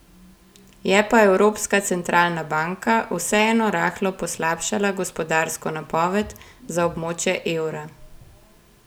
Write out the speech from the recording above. Je pa Evropska centralna banka vseeno rahlo poslabšala gospodarsko napoved za območje evra.